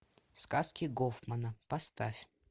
сказки гофмана поставь